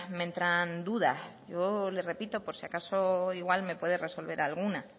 me entran dudas yo le repito por si acaso igual me puede resolver alguna